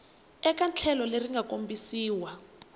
eka tlhelo leri nga kombisiwa